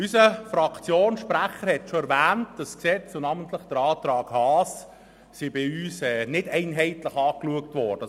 Unser Fraktionssprecher hat schon erwähnt, dass dieses Gesetz und namentlich der Antrag Haas, bei uns nicht einheitlich beurteilt wurden.